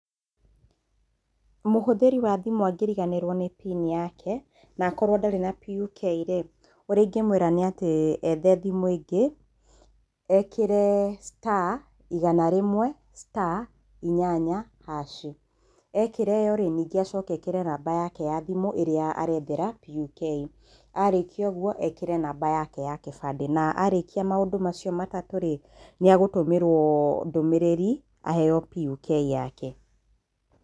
Mũhũthĩri wa thimũ angĩriganĩrwo PIN yake na akorwo ndarĩ na PUK rĩ, ũrĩa ingĩmwĩra nĩ atĩ, ethe thimũ ĩngĩ ekĩre star igana rĩmwe star, inyanya hash i, ekĩra ĩyo rĩ, ningĩ acoke ekĩre namba yake ya thimũ ĩrĩa areethera PUK. A rĩkia ũguo ekĩre namba yake ya kĩbandĩ na a rĩkia maũndũ macio matatũ rĩ, nĩ agũtũmĩrwo nĩ agũtũmĩrwo ndũmĩrĩri aheo PUK yake.